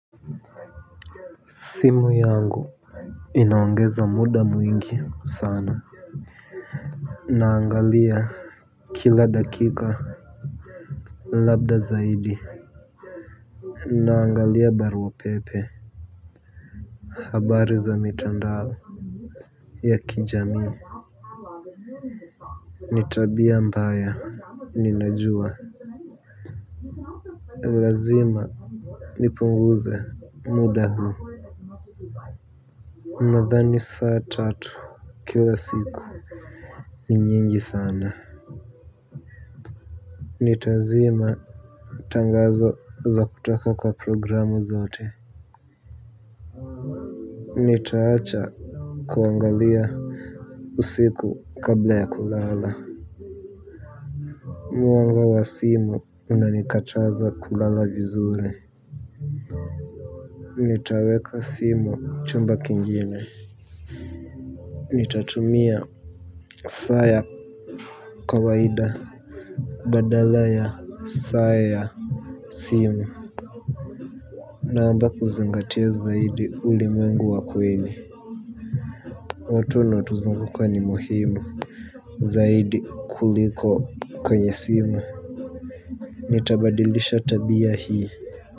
Simu yangu inaongeza muda mwingi sana. Naangalia kila dakika. Labda zaidi naangalia barua pepe. Habari za mitandao ya kijamii. Ni tabia mbaya ninajua lazima nipunguze muda huu nadhani saa tatu kila siku. Ni nyingi sana. Nitazima tangazo za kutoka kwa programu zote. Nitaacha kuangalia usiku kabla ya kulala. Mwanga wa simu unanikachaza kulala vizuri nitaweka simu chumba kingine. Nitatumia saa ya kawaida badala ya saa ya simu. Naamba kuzingatia zaidi ulimwengu wa kweli. Watu wanaotuzunguka ni muhimu zaidi kuliko kwenye simu nitabadilisha tabia hii.